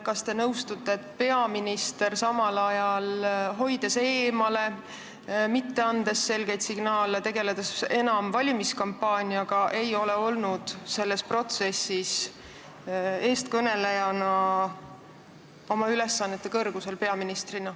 Kas te nõustute, et peaminister, hoides eemale, mitte andes selgeid signaale, tegeledes enam valimiskampaaniaga, ei ole olnud eestkõnelejana selles protsessis peaministrina oma ülesannete kõrgusel?